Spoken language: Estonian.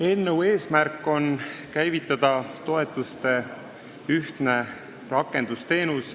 Eelnõu eesmärk on käivitada toetuste ühtne rakendusteenus.